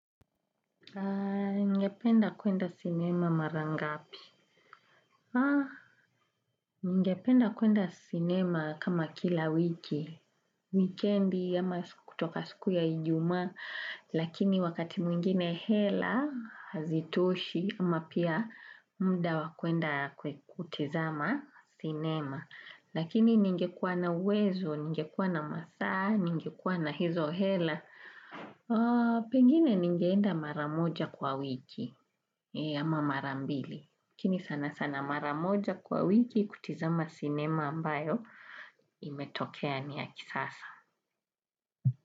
Ningependa kuenda cinema mara ngapi? Ninge penda kuenda cinema kama kila wiki. Wikendi, ama kutoka siku ya Ijumaa, lakini wakati mwingine hela hazitoshi, au pia muda wa kwenda kutazama sinema. Lakini ningekuwa na uwezo, ningekuwa na masaa, ningekuwa na hizo hela, pengine ningeenda mara moja kwa wiki. Ama mara mbili. Lakini sana sana mara moja kwa wiki kutazama sinema ambayo imetokea ni ya kisasa.